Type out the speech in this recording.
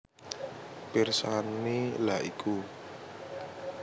Pirsani lha iku